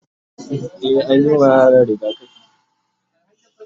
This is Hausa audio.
e anyi wa yaran rigakafi